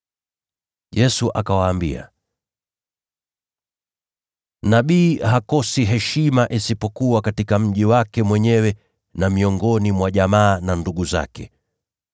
Yesu akawaambia, “Nabii hakosi heshima isipokuwa katika mji wake mwenyewe, na miongoni mwa jamaa na ndugu zake, na nyumbani kwake.”